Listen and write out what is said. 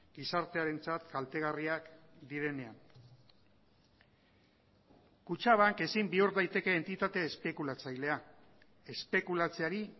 gizartearentzat kaltegarriak direnean kutxabank ezin bihur daiteke entitate espekulatzailea espekulatzeari